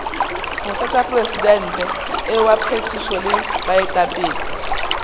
motlatšamopresidente wa phethišo le baetapele